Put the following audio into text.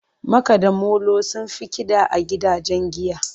Makada molo sun fi Kida a gidajen giya.